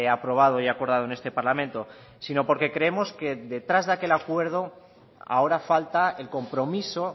aprobado y acordado en este parlamento sino porque creemos que detrás de aquel acuerdo ahora falta el compromiso